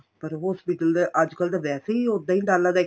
ਪਰ hospital ਤਾਂ ਅੱਜਕਲ ਤਾਂ ਵੈਸੇ ਈ ਉਦਾ ਈ ਡਾਲਾ